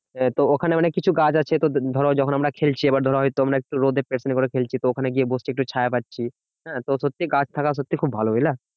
তো ওখানে অনেককিছু গাছ আছে তো ধরো যখন আমরা খেলছি এবার ধরো তো আমরা একটু রোদে খেলছি তো ওখানে গিয়ে বসছি একটু ছায়া পাচ্ছি। হ্যাঁ তো সত্যি গাছ থাকা সত্যি খুব ভালো বুঝলা